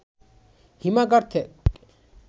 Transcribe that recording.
হিমাগার থেক